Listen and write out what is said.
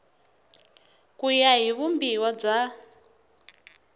ku ya hi vumbiwa bya